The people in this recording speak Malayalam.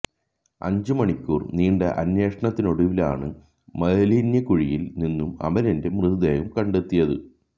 അഞ്ചു മണിക്കൂര് നീണ്ട അന്വേഷണത്തിനൊടുവിലാണ് മാലിന്യ കുഴിയില് നിന്നും അമലിന്റെ മൃതദേഹം കണ്ടെത്തിയത്